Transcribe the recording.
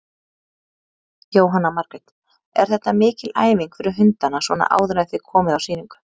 Jóhanna Margrét: Er þetta mikil æfing fyrir hundana svona áður en þið komið á sýningu?